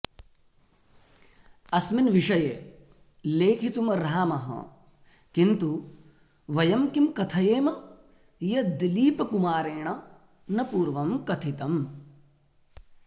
अस्मिन् विषये लेखितुमर्हामः किन्तु वयं किं कथयेम यद्दिलीपकुमारेण न पूर्वं कथितम्